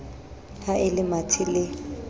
ha e le mathe le